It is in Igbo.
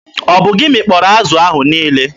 Ọ bụ gị mịkpọrọ azụ ahụ niile?